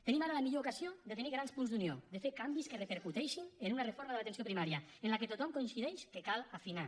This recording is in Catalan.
tenim ara la millor ocasió de tenir grans punts d’unió de fer canvis que repercuteixin en una reforma de l’atenció primària en què tothom coincideix que cal afinar